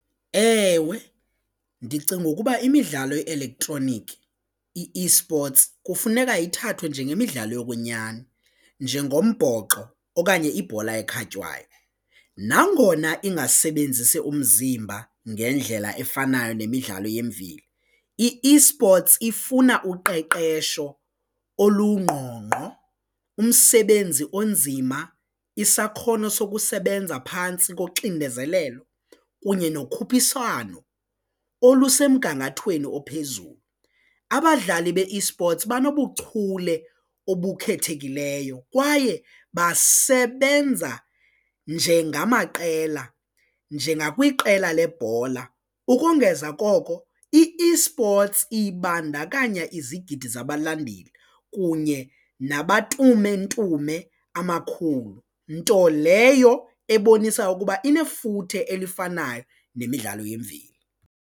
Ewe, ndicinga ukuba imidlalo ye-elektroniki i-eSports kufuneka ithathwe njengemidlalo yokwenyani njengombhoxo okanye ibhola ekhatywayo nangona ingasebenzisi umzimba ngendlela efanayo nemidlalo yemveli i-eSports ifuna uqeqesho olungqongqo, umsebenzi onzima, isakhono sokusebenza phantsi koxinezelelo kunye nokhuphiswano olusemgangathweni ophezulu. Abadlali be-eSports banobuchule obukhethekileyo kwaye basebenza njengamaqela, njengakwiqela lebhola ukongeza koko i-eSports ibandakanya izigidi zabalandeli kunye nabatumentume amakhulu nto leyo ebonisa ukuba inefuthe elifanayo nemidlalo yemveli.